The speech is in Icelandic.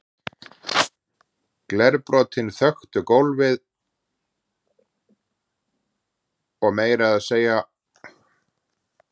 Glerbrotin þöktu gólfið og meira að segja rúmið hans var fullt af glerbrotum.